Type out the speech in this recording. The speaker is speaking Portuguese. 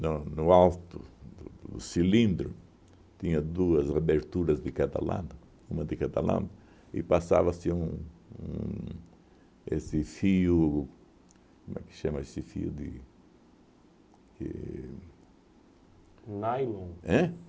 no no alto do do cilindro, tinha duas aberturas de cada lado, uma de cada lado, e passava-se um um esse fio... Como é que chama esse fio de e... Nylon? Ãh?